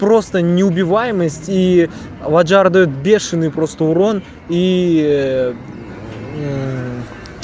просто неубиваемость и ваджар даёт бешеные просто урон и